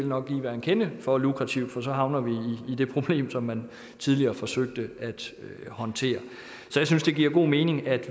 nok bliver en kende for lukrativt for så havner vi i det problem som man tidligere forsøgte at håndtere så jeg synes det giver god mening at